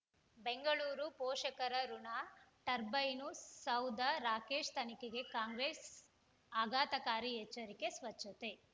ಬೆಂಗಳೂರು ಪೋಷಕರಋಣ ಟರ್ಬೈನು ಸೌಧ ರಾಕೇಶ್ ತನಿಖೆಗೆ ಕಾಂಗ್ರೆಸ್ ಆಘಾತಕಾರಿ ಎಚ್ಚರಿಕೆ ಸ್ವಚ್ಛತೆ